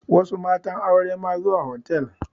Wasu matan aure ma zuwa hotal